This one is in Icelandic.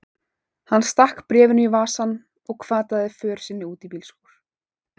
Hann stakk bréfinu í vasann og hvataði för sinni út í bílskúr.